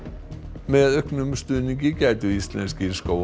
með auknum stuðningi gætu íslenskir